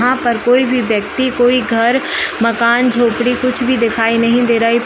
यहाँ पर कोई भी व्यक्ति कोई घर मकान झोपड़ी कुछ भी दिखाई नहीं दे रहे है।